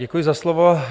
Děkuji za slovo.